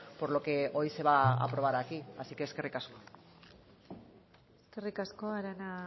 por lo que hoy se va a aprobar aquí así que eskerrik asko eskerrik asko arana